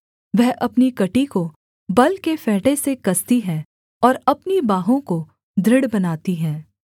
वह अपनी कमर को बल के फेंटे से कसती है और अपनी बाहों को दृढ़ बनाती है